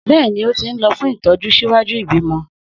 Bẹ́ẹ̀ni, ó ti ń lọ fún ìtọ́jú ṣíwájú ìbímọ.